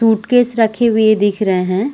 Suitcase रखे हुए दिख रहै हैं।